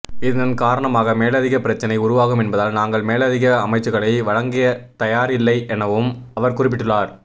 இதன் காரணமாக மேலதிக பிரச்சினை உருவாகும் என்பதால் நாங்கள் மேலதிக அமைச்சுக்களை வழங்கதயாரில்லை எனவும் அவர் குறிப்பிட்டுள்ளார்